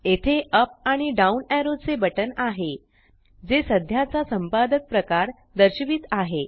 येथेअप आणि down arrow चे button आहे जे सध्याचा संपादक प्रकार दर्शवित आहे